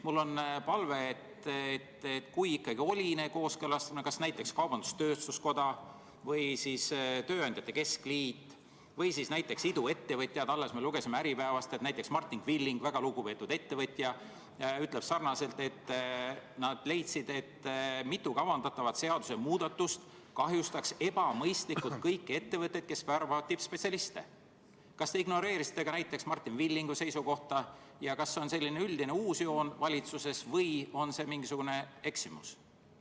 Mul on palve, et kui ikkagi oli kooskõlastamine, kui seda tegid näiteks kaubandus-tööstuskoda või tööandjate keskliit või näiteks iduettevõtjad – alles me lugesime Äripäevast, et Martin Villig, väga lugupeetud ettevõtja, ütles, et nad leidsid, et mitu kavandatavat seadusemuudatust kahjustaks ebamõistlikult kõiki ettevõtteid, kes värbavad tippspetsialiste –, siis kas te ütleksite, kas te ignoreerisite näiteks Martin Villigu seisukohta ja kas see on selline üldine uus joon valitsuses või on see mingisugune eksimus?